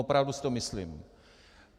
Opravdu si to myslím.